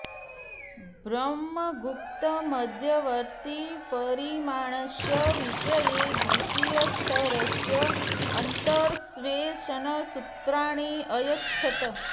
ब्रह्मगुप्त मध्यवर्ति परिमाणस्य विषये द्वितीय स्तरस्य अन्तर्वेशन सूत्राणि अयच्छत्